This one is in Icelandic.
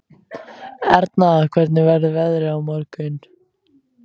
Erna, hvernig verður veðrið á morgun?